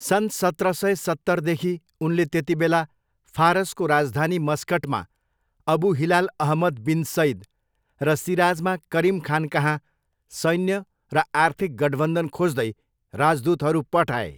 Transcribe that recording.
सन् सत्र सय सत्तरदेखि उनले त्यतिबेला फारसको राजधानी मस्कटमा Abu Hilal Ahmad bin Said र सिराजमा करिम खानकहाँ सैन्य र आर्थिक गठबन्धन खोज्दै राजदूतहरू पठाए।